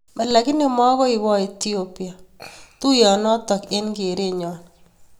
Lakini makoipaa etiopia tuoyo notok eng keret nyoo